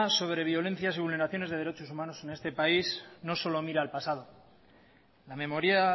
sobre violencia sobre vulneraciones de derechos humanos en este país no solo mira al pasado la memoria